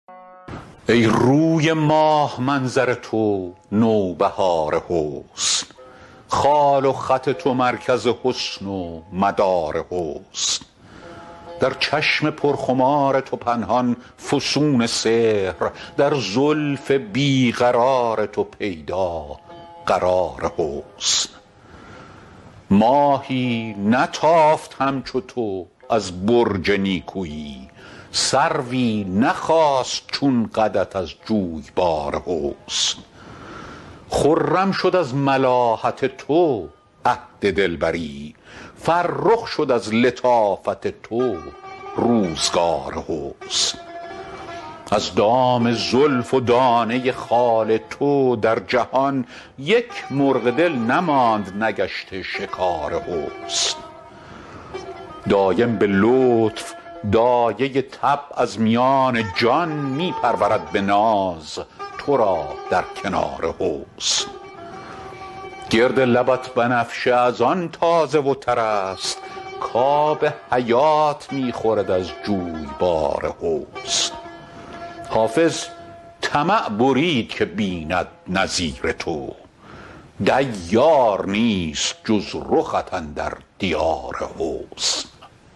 ای روی ماه منظر تو نوبهار حسن خال و خط تو مرکز حسن و مدار حسن در چشم پرخمار تو پنهان فسون سحر در زلف بی قرار تو پیدا قرار حسن ماهی نتافت همچو تو از برج نیکویی سروی نخاست چون قدت از جویبار حسن خرم شد از ملاحت تو عهد دلبری فرخ شد از لطافت تو روزگار حسن از دام زلف و دانه خال تو در جهان یک مرغ دل نماند نگشته شکار حسن دایم به لطف دایه طبع از میان جان می پرورد به ناز تو را در کنار حسن گرد لبت بنفشه از آن تازه و تر است کآب حیات می خورد از جویبار حسن حافظ طمع برید که بیند نظیر تو دیار نیست جز رخت اندر دیار حسن